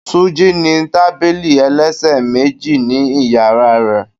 Túnjí ní tábìlì ẹlẹ́sẹ̀ méjì ni ìyàrá rẹ̀.